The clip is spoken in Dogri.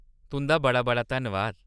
तुंʼदा बड़ा-बड़ा धन्नबाद।